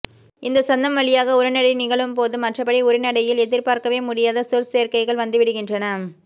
இந்த சந்தம் வழியாக உரைநடை நிகழும்போது மற்றபடி உரைநடையில் எதிர்பார்க்கவேமுடியாத சொற்சேர்க்கைகள் வந்துவிடுகின்றன